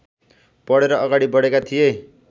पढेर अगाडि बढेका थिए